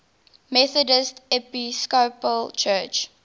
methodist episcopal church